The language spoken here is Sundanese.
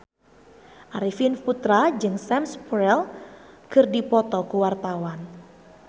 Arifin Putra jeung Sam Spruell keur dipoto ku wartawan